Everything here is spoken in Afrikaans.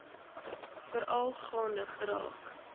veral gaande geraak